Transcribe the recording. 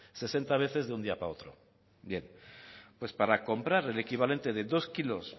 sesenta veces de un día para otro bien pues para comprar el equivalente de dos kilos